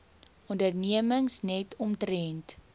ondernemings net omtrent